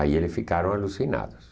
Aí eles ficaram alucinados.